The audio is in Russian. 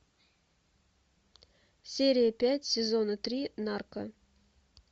серия пять сезона три нарко